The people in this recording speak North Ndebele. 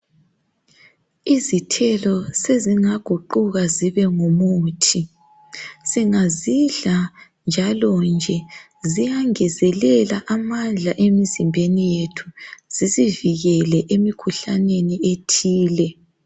Isithelo sezingaguquka zibengumuthi singazidla njalo nje ziyangezelela amandla emzimbeni yethu zisivikele emikhuhlaneni ethile.